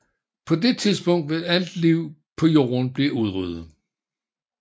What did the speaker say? På det tidspunkt vil alt liv på Jorden blive udryddet